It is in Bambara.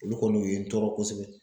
Olu kɔni o ye n tɔɔrɔ kosɛbɛ.